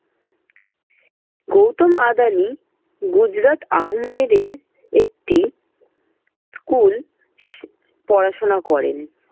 গৌতম আদানি গুজরাট আহম্মেদের একটি school পড়াশোনা করেন।